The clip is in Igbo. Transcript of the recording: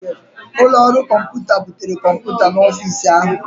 Ụlọ ọrụ kọmpụta butere kọmpụta n'ọfịs ahụ